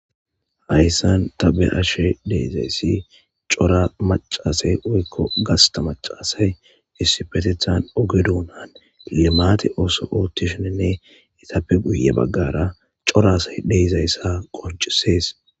Hayssan tabe ashe deizayssi cora macasay woykko gasta macaasay issipetethan ogedunaan limaate ooso oottisheenne itappe guye baggara coraasay deyzayssa qoncisees